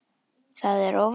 Það er óvænt.